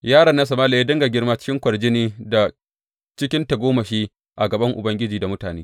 Yaron nan Sama’ila ya dinga girma cikin kwarjini da cikin tagomashi a gaba Ubangiji da mutane.